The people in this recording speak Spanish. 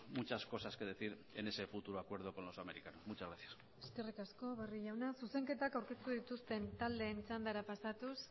muchas cosas que decir en ese futuro acuerdo con los americanos muchas gracias eskerrik asko barrio jauna zuzenketak aurkeztu dituzten taldeen txandara pasatuz